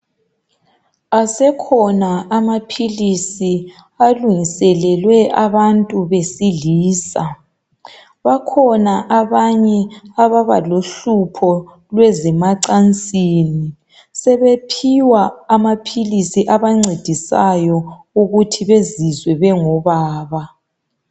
Asekhona amaphilisi alungiselelwe abantu besilisa bakhona abanye ababalohlupho lwezemacansini sebephiwa amaphilisi abancedisayo ukuthi bezizwe bengobaba.